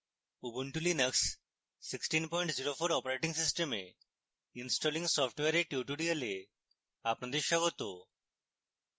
ubuntu linux 1604 operating system installing software এর tutorial আপনাদের স্বাগত